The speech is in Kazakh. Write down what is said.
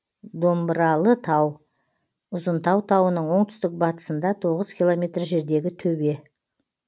домбыралытау ұзынтау тауының оңтүстік батысында тоғыз километр жердегі төбе